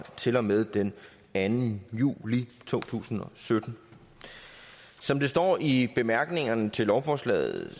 til og med den anden juli to tusind og sytten som det står i bemærkningerne til lovforslaget